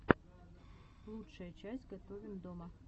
лучшая часть готовим дома